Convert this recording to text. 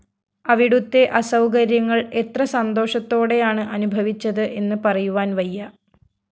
അവിടുത്തെ അസൗകര്യങ്ങള്‍ എത്ര സന്തോഷത്തോടെയാണ് അനുഭവിച്ചത് എന്ന് പറയുവാന്‍ വയ്യ